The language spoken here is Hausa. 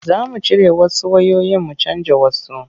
Za mu cire wasu wayoyin mu canja wasu.